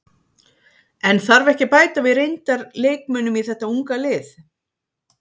En þarf ekki að bæta við reyndar leikmönnum í þeta unga lið?